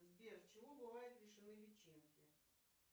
сбер чего бывают лишены личинки